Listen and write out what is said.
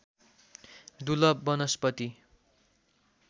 दुर्लभ वनस्पति